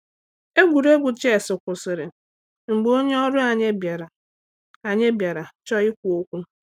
Egwuregwu ches kwụsịrị mgbe onye ọrụ anyi bịara anyi bịara chọọ ikwu okwu.